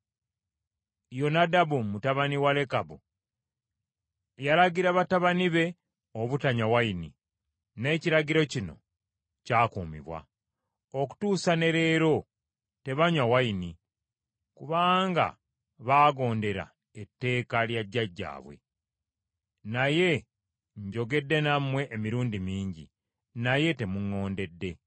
Yonadabu mutabani wa Lekabu yalagira batabani be obutanywa nvinnyo n’ekiragiro kino kyakumibwa. Okutuusa ne leero tebanywa nvinnyo, kubanga baagondera etteeka lya jjajjaabwe. Naye njogedde nammwe emirundi mingi, naye temuŋŋondedde.